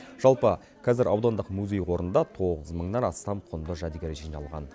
жалпы қазір аудандық музей қорында тоғыз мыңнан астам құнды жәдігер жиналған